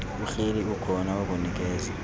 uhleli ukhona wokunikeza